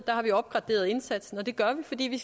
der har vi opgraderet indsatsen og det gør vi fordi vi